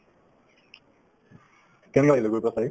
কেনেকুৱা লাগিলে বাৰু চাই